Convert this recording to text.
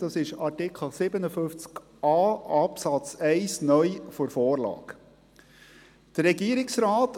Dieser wird in Artikel 57a Absatz 1 (neu) der Vorlage geregelt.